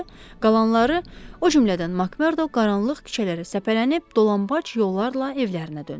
qalanları o cümlədən Makmerdo qaranlıq küçələrə səpələnib dolambac yollarla evlərinə döndülər.